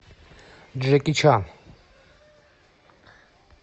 джеки чан